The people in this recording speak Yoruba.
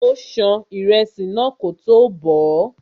Ó ṣan ìrẹsì náà kótó bọ̀ọ́.